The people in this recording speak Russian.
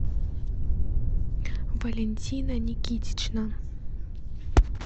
валентина никитична